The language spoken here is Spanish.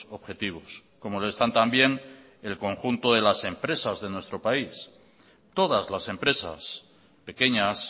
objetivos como lo están también el conjunto de las empresas de nuestro país todas las empresas pequeñas